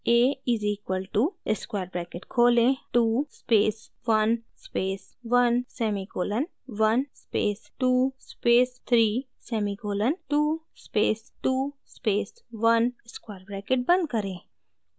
a is equal to square bracket खोलें 2 space 1 space 1 semicolon 1 space 2 space 3 semicolon 2 space 2 space 1 square bracket बंद करें